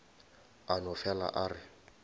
a no fele a re